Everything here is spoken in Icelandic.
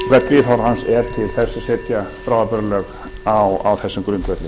ráðherrans er til þess að setja bráðabirgðalög á þessum grundvelli